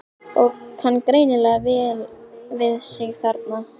Og kann greinilega vel við sig þarna!